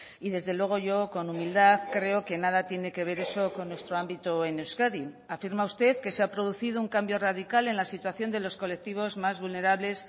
y desde luego yo con humildad creo que nada tiene que ver eso con nuestro ámbito en euskadi afirma usted que se ha producido un cambio radical en la situación de los colectivos más vulnerables